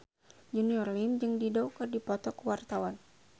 Junior Liem jeung Dido keur dipoto ku wartawan